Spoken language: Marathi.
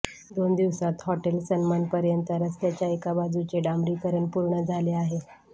दोन दिवसात हॉटेल सन्मानपर्यंत रस्त्याच्या एकाबाजूचे डांबरीकरण पूर्ण झाले आहे